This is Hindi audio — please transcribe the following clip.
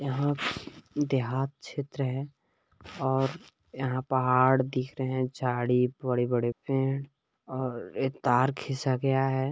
यहाँ देहात क्षेत्र है और यहाँ पहाड़ दिख रहे हैं झाड़ी बड़े-बड़े पेड़ और ये तार खींचा गया है।